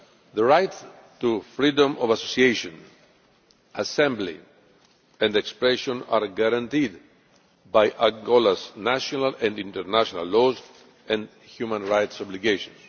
The right to freedom of association, assembly and expression are guaranteed by Angola's national and international laws and human rights obligations.